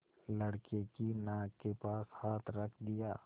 लड़के की नाक के पास हाथ रख दिया